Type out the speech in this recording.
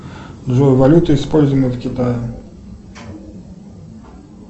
джой валюта используемая в китае